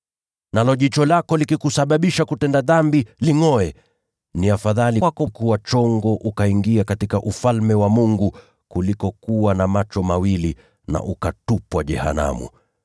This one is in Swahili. Nalo jicho lako likikusababisha kutenda dhambi, lingʼoe. Ni afadhali kwako kuingia katika Ufalme wa Mungu ukiwa na jicho moja, kuliko kuwa na macho mawili lakini ukatupwa jehanamu,